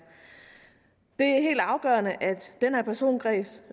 helt afgørende at den her personkreds